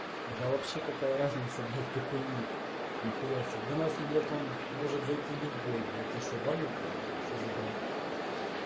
да вообще какая разница блять какой ник нихуя себе до нас блять он может дойти любой блять особо ничего что за бред